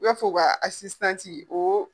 I b'a fɔ u ka , o